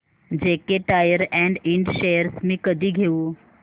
JK tyre and Ind shares मी कधी घेऊ